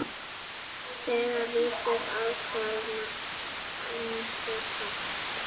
Þegar vitað var hvenær Esjan